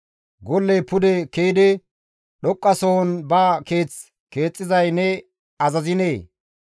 Golley pude ke7idi dhoqqasohon ba keeth keexxizay ne azaziinee?